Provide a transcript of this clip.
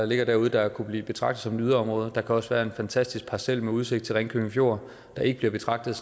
ligger derude der kunne blive betragtet som yderområder der kan også være en fantastisk parcel med udsigt til ringkøbing fjord der ikke bliver betragtet